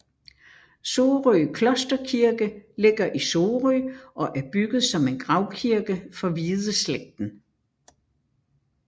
Sorø Klosterkirke ligger i Sorø og er bygget som en gravkirke for Hvideslægten